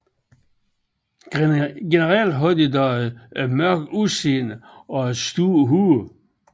Generelt har de dog et mørkt udseende og et stort hoved